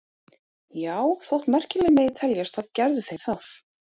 Já, þótt merkilegt megi teljast þá gerðu þeir það.